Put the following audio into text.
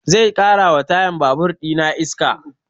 Zai ƙara wa tayan babur ina iska